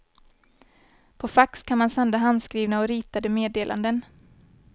På fax kan man sända handskrivna och ritade meddelanden.